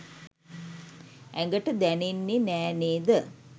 ඇඟට දැනෙන්නේ නෑ නේ ද?